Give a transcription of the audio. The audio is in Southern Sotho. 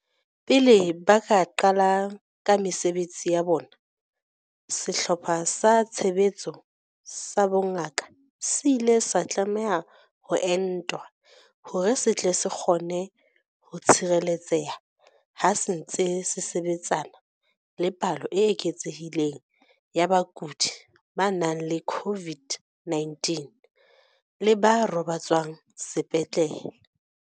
Pele ba ka qala ka mesebetsi ya bona, Sehlopha sa Tshebetso sa Bongaka se ile sa tlameha ho entwa hore se tle se kgone ho tshireletseha ha se ntse se sebetsana le palo e eketsehileng ya bakudi ba nang le COVID-19 le ba robatswang sepetlele.